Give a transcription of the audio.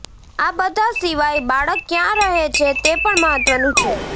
આ બધા સિવાય બાળક ક્યાં રહે છે તે પણ મહત્ત્વનું છે